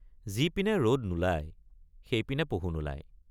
যিপিনে ৰদ নোলায় সেইপিনে পহু নোলায়।